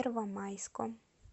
первомайском